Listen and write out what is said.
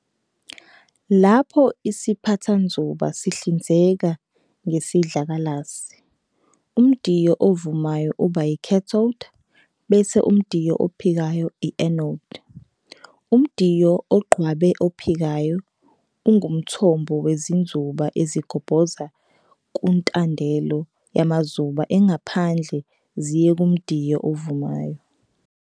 Lapho isiphathanzuba sihlinzeka ngesidlakalasi, umdiyo ovumayo uba i"cathode" bese umdiyo ophikayo uba i"anode". Umdiyo ogqabwe ophikayo ungumthombo wezinzuba ezigobhoza kuntandelo yamazuba engaphandle ziye kumdiyo ovumayo.